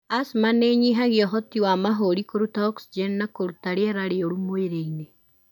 Asthma nĩinyihagia ũhoti wa mahũri kũrũta oxygen na kũrũta rĩera rĩũru mwĩrĩinĩ.